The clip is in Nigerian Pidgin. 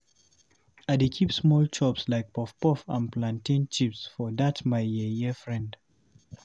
I dey keep small chops like puff-puff and plantain chips for dat my yeye frend.